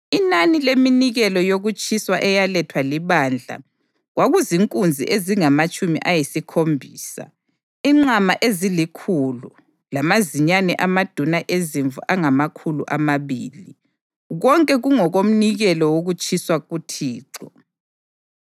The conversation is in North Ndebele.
Inani leminikelo yokutshiswa eyalethwa libandla kwakuzinkunzi ezingamatshumi ayisikhombisa, inqama ezilikhulu lamazinyane amaduna ezimvu angamakhulu amabili, konke kungokomnikelo wokutshiswa kuThixo.